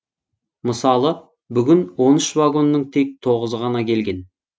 мысалы бүгін он үш вагонның тек тоғызы ғана келген